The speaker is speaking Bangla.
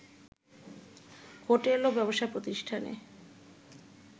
হোটেল ও ব্যবসা-প্রতিষ্ঠানে